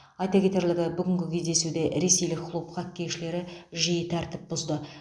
айта кетерлігі бүгінгі кездесуде ресейлік клуб хоккейшілері жиі тәртіп бұзды